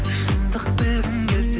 шындық білгің келсе